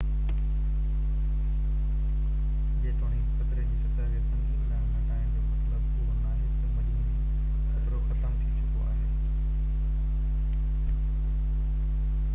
جيتوڻيڪ خطري جي سطح کي سنگين ڏانهن گهٽائڻ جو مطلب اهو ناهي ته مجموعي خطرو ختم ٿي چڪو آهي